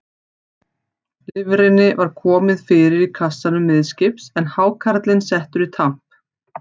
Lifrinni var komið fyrir í kassanum miðskips, en hákarlinn settur í tamp.